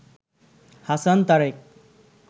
Hasan Tarique